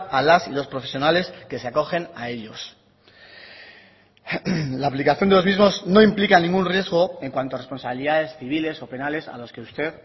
a las y los profesionales que se acogen a ellos la aplicación de los mismos no implica ningún riesgo en cuanto a responsabilidades civiles o penales a las que usted